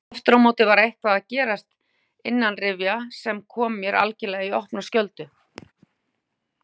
Afturámóti var eitthvað að gerast innanrifja sem kom mér algerlega í opna skjöldu.